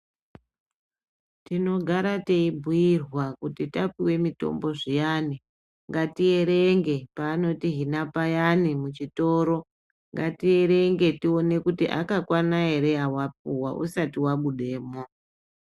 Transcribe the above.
Tinogara teibhuyirwa kuti tapuwe mutombo zviyani ngatierenge paanotihina payani muchitoro, ngatierenge tione kuti akakwana ere awapuwa usati wabudemwo.